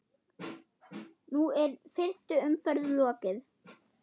Nú er fyrstu umferð lokið.